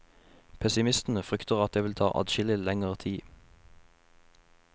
Pessimistene frykter at det vil ta adskillig lenger tid.